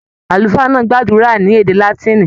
Àlùfáà náà gbàdúrà ní èdè Látìnì.